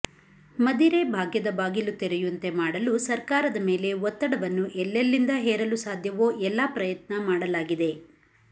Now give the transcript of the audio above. ಮದಿರೆ ಭಾಗ್ಯದ ಬಾಗಿಲು ತೆರೆಯುಂತೆ ಮಾಡಲು ಸರ್ಕಾರದ ಮೇಲೆ ಒತ್ತಡವನ್ನು ಎಲ್ಲೆಲ್ಲಿಂದ ಹೇರಲು ಸಾಧ್ಯವೊ ಎಲ್ಲ ಪ್ರಯತ್ನ ಮಾಡಲಾಗಿದೆ